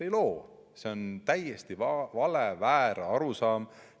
Ei loo, see on täiesti vale, väär arusaam.